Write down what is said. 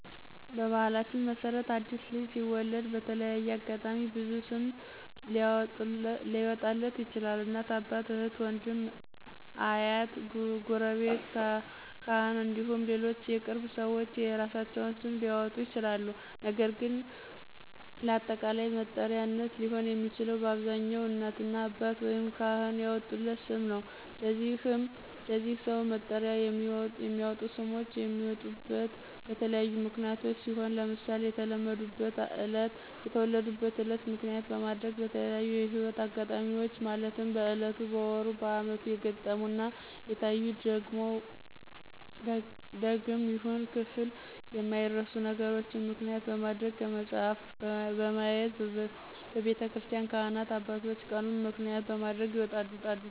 በባህላችን መሰረት አዲስ ልጅ ሲወለድ በተለያየ አጋጣሚ ብዙ ሰው ስም ሊአወጣለት ይችላል እናት፣ አባት፣ እህት፣ ውንድም፣ አሀት፣ ጉረቤት፣ ካህን እንዲሁም ሌሎች የቅርብ ሰዎች የየእራሳቸውን ስም ሊአወጡ ይችላል ነገር ግን ለአጠቃላይ መጠሪያነት ሊሆን የሚችለው በአብዛኛው እናትና አባት ወይም ካህን ያወጡለት ስም ነው። ለዚህ ሰው መጥሪያነት የሚወጡ ስሞች የሚወጡት በተለያዩ ምክንያቶች ሲሆን ለምሳሌ የተወለዱበትን እለት ምክንያት በማድረግ፣ በተለያዪ የህይወት እጋጣሚዎች ማለትም በእለቱ፣ በወሩ፣ በአመቱ የገጠሙና የታዩ ደግም ይሁን ክፍል የማይረሱ ነገሮችን ምክንያት በማድረግ፣ ከመጽሀፍ በማየት፣ በቤተክርስቲን ካህናት አባቶች ቀኑን ምክንያት በማድረግ ይወጣል።